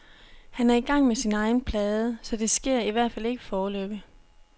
Han er i gang med sin egen plade, så det sker i hvert fald ikke foreløbig.